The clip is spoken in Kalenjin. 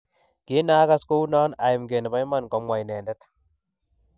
Kinagas kounon aimge ne bo iman, Komwa inendet